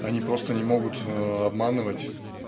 они просто не могут обманывать